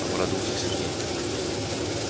обрадовался сергей